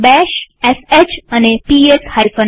બેશsh અને PS f